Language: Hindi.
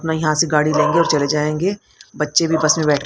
अपना यहां से गाड़ी लेंगे और चले जाएंगे बच्चे भी बस में बैठ--